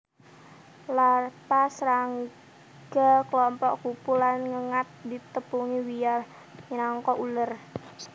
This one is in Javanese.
Larva srangga klompok kupu lan ngengat ditepungi wiyar minangka uler